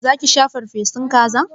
Za ki sha farfesun kaza?